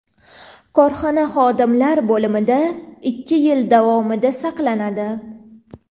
korxona xodimlar bo‘limida ikki yil davomida saqlanadi.